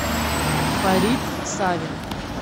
фарит савин